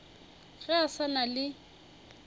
ge a sa na le